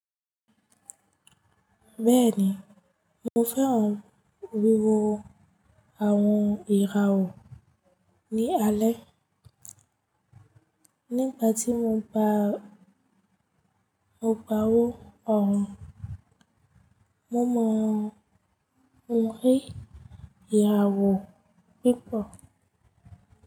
Bẹ́ẹ̀ni, mo fẹ́ràn wíwo àwọn ìràwọ̀ ní alẹ́. Nígbà tí mo bá ń gbáwó ọrùn, mo mọ ohùn rí ìyàwó púpọ̀.